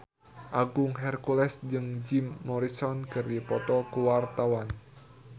Agung Hercules jeung Jim Morrison keur dipoto ku wartawan